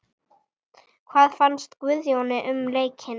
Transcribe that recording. Hvað fannst Guðjóni um leikinn?